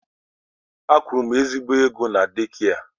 A kwụrụ m ezigbo ụgwọ na deekia.